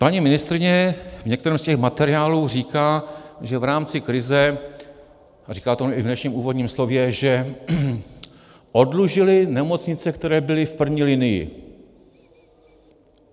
Paní ministryně v některém z těch materiálů říká, že v rámci krize, a říká to i v dnešním úvodním slově, že oddlužili nemocnice, které byly v první linii.